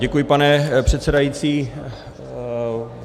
Děkuji, pane předsedající.